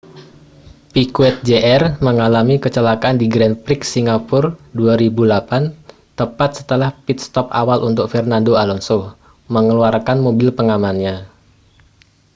piquet jr mengalami kecelakaan di grand prix singapura 2008 tepat setelah pit stop awal untuk fernando alonso mengeluarkan mobil pengamannya